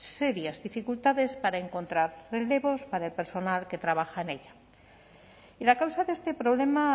serias dificultades para encontrar relevos para el personal que trabaja en ella y la causa de este problema